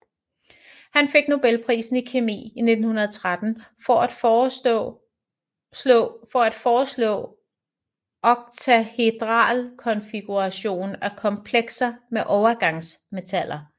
Han fik Nobelprisen i kemi i 1913 for at foreslå oktahedral konfiguration af komplekser med overgangsmetaller